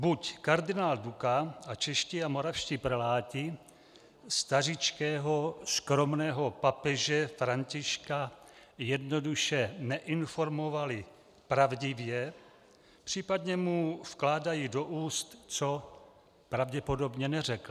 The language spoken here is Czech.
Buď kardinál Duka a čeští a moravští preláti stařičkého skromného papeže Františka jednoduše neinformovali pravdivě, případně mu vkládají do úst, co pravděpodobně neřekl.